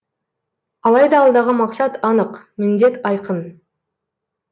алайда алдағы мақсат анық міндет айқын